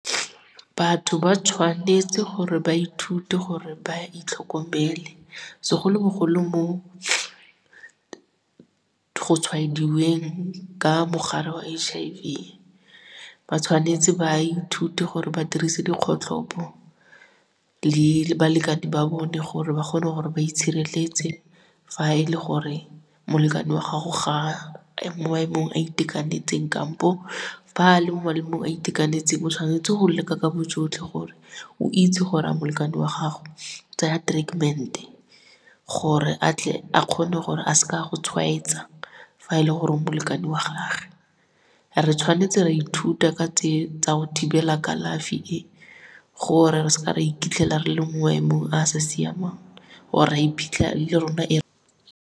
Batho ba tshwanetse gore ba ithute gore ba itlhokomele, segolobogolo mo go tshwaediweng ka mogare wa H_I_V. Ba tshwanetse ba ithute gore ba dirise dikgotlhopo le balekane ba bone gore ba kgone gore ba itshireletse fa e le gore molekane wa gago ga a mo maemong a itekanetseng kampo fa a le mo maemong a itekanetseng o tshwanetse go leka ka bojotlhe gore o itse gore a molekane wa gago o tsaya treatment-e gore a tle a kgone gore a s'ka go tshwaetsa fa e le gore o molekane wa gage. Re tshwanetse ra ithuta ka tse tsa go thibela kalafi e, gore re s'ka re iphitlhela re le mo maemong a a sa siamang or ra iphitlhela le rona e.